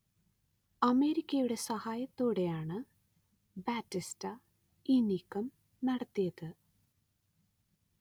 അമേരിക്കയുടെ സഹായത്തോടെയാണ് ബാറ്റിസ്റ്റ ഈ നീക്കം നടത്തിയത്